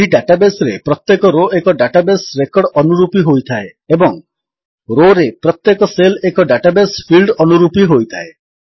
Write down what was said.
ଏହି ଡାଟାବେସ୍ ରେ ପ୍ରତ୍ୟେକ ରୋ ଏକ ଡାଟାବେସ୍ ରେକର୍ଡ ଅନୁରୂପୀ ହୋଇଥାଏ ଏବଂ ରୋ ରେ ପ୍ରତ୍ୟେକ ସେଲ୍ ଏକ ଡାଟାବେସ୍ ଫିଲ୍ଡ ଅନୁରୂପୀ ହୋଇଥାଏ